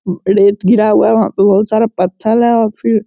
रेत गिरा हुआ है वहा पे बहुत सारा पथल है और फिर--